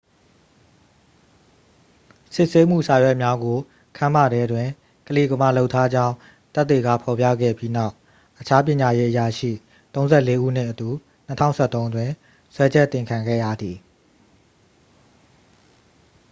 စစ်ဆေးမှု စာရွက်များကို ခန်းမထဲတွင် ကလီကမာလုပ်ထားကြောင်း သက်သေက ဖော်ပြခဲ့ပြီးနောက် အခြား ပညာရေးအရာရှိ 34 ဦးနှင့်အတူ 2013 တွင် စွဲချက်တင်ခံခဲ့ရသည်